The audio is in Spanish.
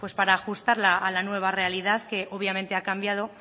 para ajustarla a la nueva realidad que obviamente ha cambiado